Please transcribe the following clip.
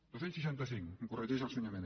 dos cents i seixanta cinc em corregeix el senyor mena